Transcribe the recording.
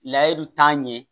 Layiru t'a ɲɛ